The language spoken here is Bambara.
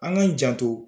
An k'an janto